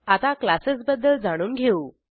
आता क्लासेसबद्दल जाणून घेऊ